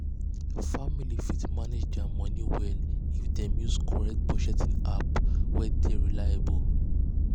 family fit manage their money well if dem use correct budgeting app wey dey reliable.